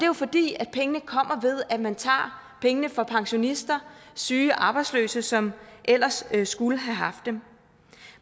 jo fordi pengene kommer ved at man tager pengene fra pensionister syge og arbejdsløse som ellers skulle have haft dem